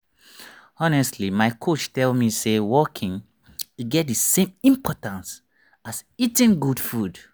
honestly my coach tell me say walking e get the same importance as eating good food.